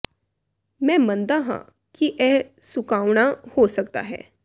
ਮੈਂ ਮੰਨਦਾ ਹਾਂ ਕਿ ਇਹ ਸੁਕਾਉਣਾ ਹੋ ਸਕਦਾ ਹੈ